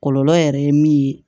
Kɔlɔlɔ yɛrɛ ye min ye